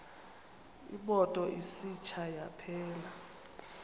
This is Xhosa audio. imoto isitsha yaphela